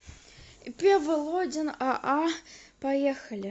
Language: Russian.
ип володин аа поехали